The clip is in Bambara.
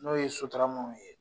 N'o ye Sotaramaw ye.